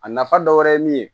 A nafa dɔ wɛrɛ ye min ye